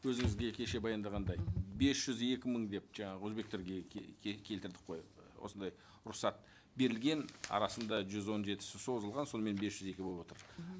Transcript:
өзіңізге кеше баяндағандай бес жүз екі мың деп жаңағы өзбектерге келтірдік қой осындай рұқсат берілген арасында жүз он жетісі созылған сонымен бес жүз екі болып отыр